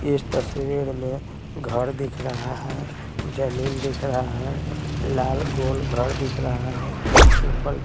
इस तस्वीर में घर दिख रहा है जमीन दिख रहा है लाल गोल घर दिख रहा है ऊपर --